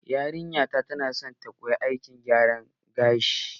Yarinya na ta na son ta koya aikin gyara gashi.